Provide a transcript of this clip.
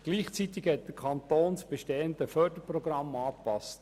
Gleichzeitig hat der Kanton das bestehende Förderprogramm angepasst.